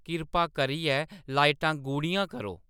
किरपा करियै लाइटां गूह्‌ड़ियां करो